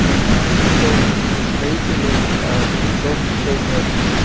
посёлок машиностроителей дом сто б